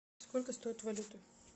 сколько стоит валюта